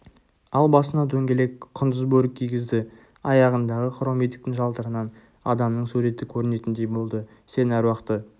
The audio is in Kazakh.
ал басына дөңгелек құндыз бөрік кигізді аяғындағы хром етіктің жалтырынан адамның суреті көрінетіндей болды сен аруақты